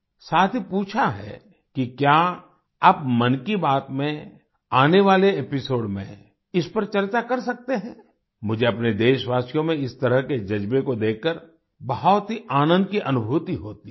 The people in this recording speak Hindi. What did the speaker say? साथ ही पूछा है कि क्या आप मन की बात में आने वाले एपिसोड में इस पर चर्चा कर सकते हैं मुझे अपने देशवासियों में इस तरह के जज्बे को देखकर बहुत ही आनन्द की अनुभूति होती है